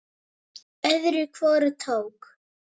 Öðru hvoru tók